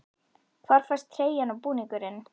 Hvar fæst treyjan og búningurinn?